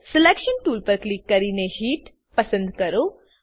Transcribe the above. selection tool પર click કરીને heat પસંદ કરો